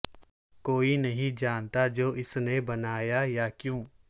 کوئی نہیں جانتا جو اس نے بنایا یا کیوں